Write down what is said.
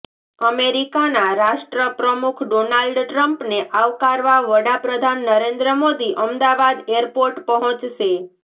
અમેરીકાના રાષ્ટ્રપ્રમુખ ડોનાલ્ડ ટ્રમ્પને આવકારવા વડાપ્રધાન નરેન્દ્ર મોદી અમદાવાદ એરપોર્ટ પહોંચશે